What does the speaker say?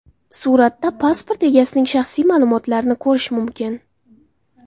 Suratda pasport egasining shaxsiy ma’lumotlarini ko‘rish mumkin.